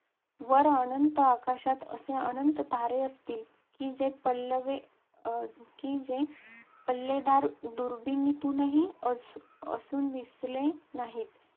वर अनंत आकाशात असे अनंत तारे असतील, की जे पल्लेवे अं की जे पल्लेदार दुर्बिणीतूनही अजून दिसले नाहीत.